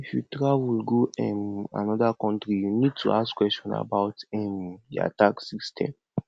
if you travel go um anoda country you need to ask question about um their tax system